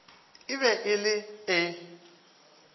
e be e le e